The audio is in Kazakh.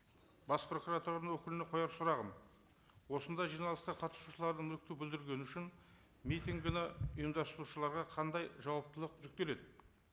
бас прокуратураның өкіліне қояр сұрағым осындай жиналысқа қатысушылардың мүлікті бүлдіргені үшін митингіні ұйымдастырушыларға қандай жауаптылық жүктеледі